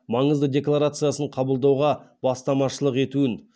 маңызды декларациясын қабылдауға бастамашылық етуін